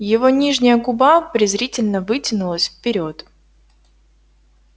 его нижняя губа презрительно вытянулась вперёд